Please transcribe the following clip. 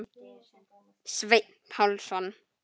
Sveinn Pálsson